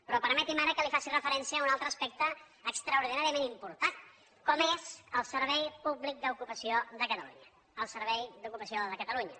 però permeti’m ara que li faci referència a un altre aspecte extraordinàriament important com és el servei públic d’ocupació de catalunya el servei d’ocupació de catalunya